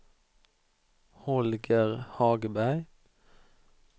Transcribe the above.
Holger Hagberg